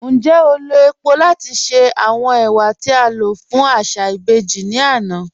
Ńjẹ́ o lọ̀ epò̀ lati ṣe awọn ẹwà ti a lọ fun aṣa ibèjì ni ana?